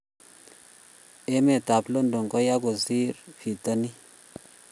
Emet ab London ko yoo kosir pitanin